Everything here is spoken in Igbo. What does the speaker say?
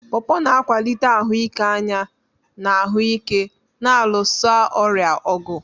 Porpor na-akwalite ahụike anya na ahụ ike na-alụso ọrịa ọgụ.